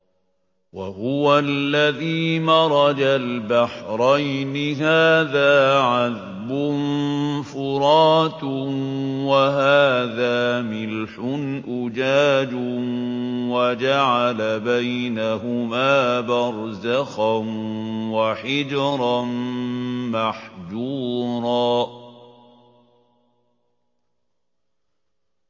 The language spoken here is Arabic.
۞ وَهُوَ الَّذِي مَرَجَ الْبَحْرَيْنِ هَٰذَا عَذْبٌ فُرَاتٌ وَهَٰذَا مِلْحٌ أُجَاجٌ وَجَعَلَ بَيْنَهُمَا بَرْزَخًا وَحِجْرًا مَّحْجُورًا